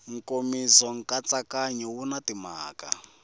nkomiso nkatsakanyo wu na timhaka